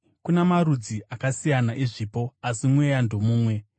Kuna marudzi akasiyana ezvipo, asi Mweya ndomumwe.